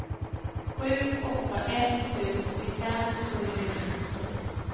sju åtta ett sju åttiofem sjuhundrasjuttiosex